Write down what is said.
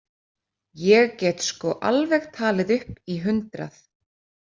Ég get sko alveg talið upp í hundrað.